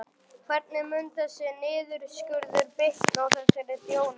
Hvernig mun þessi niðurskurður bitna á þessari þjónustu?